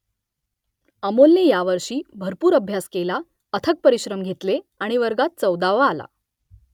अमोलने यावर्षी भरपूर अभ्यास केला अथक परिश्रम घेतले आणि वर्गात चौदावा आला